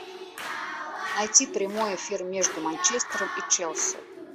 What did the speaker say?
найти прямой эфир между манчестером и челси